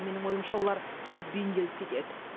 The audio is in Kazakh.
менің ойымша олар тез бейімделіп кетеді